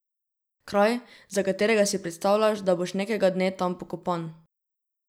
Kraj, za katerega si predstavljaš, da boš nekega dne tam pokopan.